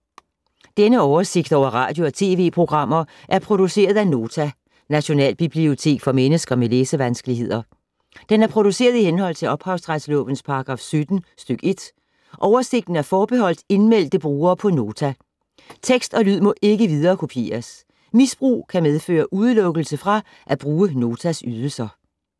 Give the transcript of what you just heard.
Denne oversigt over radio og TV-programmer er produceret af Nota, Nationalbibliotek for mennesker med læsevanskeligheder. Den er produceret i henhold til ophavsretslovens paragraf 17 stk. 1. Oversigten er forbeholdt indmeldte brugere på Nota. Tekst og lyd må ikke viderekopieres. Misbrug kan medføre udelukkelse fra at bruge Notas ydelser.